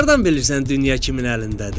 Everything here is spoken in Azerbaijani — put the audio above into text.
Hardan bilirsən dünya kimin əlindədir?